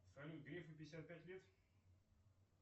салют грефу пятьдесят пять лет